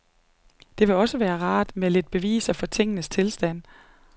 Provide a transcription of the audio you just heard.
Det ville også være rart med lidt beviser for tingenes tilstand.